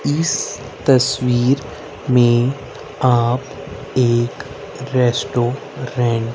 इस तस्वीर में आप एक रेस्टोरेंट --